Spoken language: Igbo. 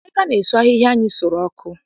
Emeka na-esu ahịhịa anyị sụrụ ọkụ.